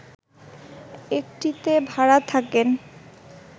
একটিতে ভাড়া থাকেন